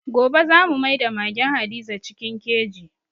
Gobe za mu maida magen Hadiza cikin keji.